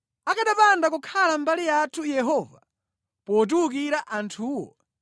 akanapanda kukhala mbali yathu Yehova, potiwukira anthuwo,